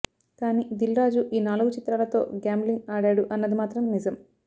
కానీ దిల్ రాజు ఈ నాలుగు చిత్రాలతో గ్యాంబ్లింగ్ ఆడాడు అన్నది మాత్రం నిజం